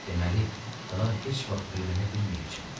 Deməli, daha heç vaxt öyrənə bilməyəcəm.